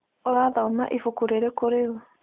ũrathoma ibuku rĩrĩkũ rĩu?